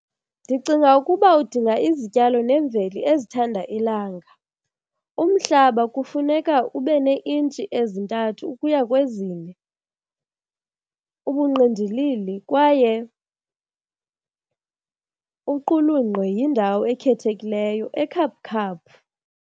Ndicinga ukuba udinga izityalo nemveli ezithanda ilanga. Umhlaba kufuneka ube neeintshi ezintathu ukuya kwezine, ubungqindilili kwaye uqulunqwe yindawo ekhethekileyo ekhaphukhaphu.